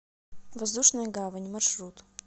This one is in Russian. воздушная гавань маршрут